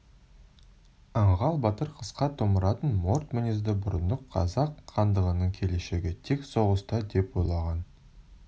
аңғал батыр қысқа томыратын морт мінезді бұрындық қазақ хандығының келешегі тек соғыста деп ойлаған